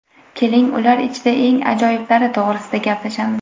Keling, ular ichida eng ajoyiblari to‘g‘risida gaplashamiz.